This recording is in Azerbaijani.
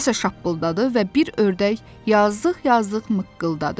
Nəsə şappıldadı və bir ördək yazıq-yazıq mıqqıldadı.